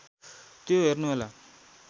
त्यो हेर्नुहोला